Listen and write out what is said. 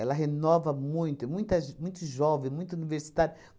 renova muito, muita ge, muito jovem, muito universitário.